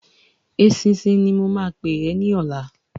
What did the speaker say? Eṣinṣin ni mo máa pè é ní ọ̀la.